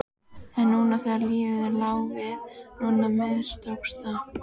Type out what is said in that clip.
En núna þegar lífið lá við, núna mistókst það!